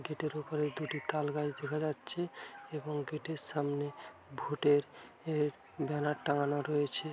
Gate এর ওপরে দুটি তালগাছ দেখা যাচ্ছে। এবং গেট এর সামনে ভোট এর ব্যানার টাঙ্গানো রয়েছে ।